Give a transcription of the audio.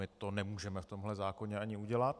My to nemůžeme v tomhle zákoně ani udělat.